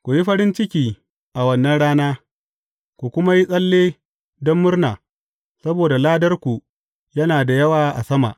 Ku yi farin ciki a wannan rana, ku kuma yi tsalle don murna, saboda ladarku yana da yawa a sama.